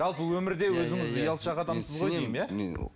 жалпы өмірде өзіңіз ұялшақ адамсыз ғой деймін иә